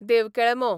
देवकेळमो